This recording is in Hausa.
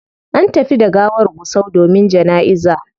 An tafi da gawar gusau domin janaiza